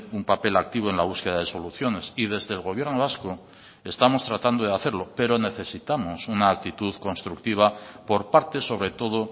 un papel activo en la búsqueda de soluciones y desde el gobierno vasco estamos tratando de hacerlo pero necesitamos una actitud constructiva por parte sobre todo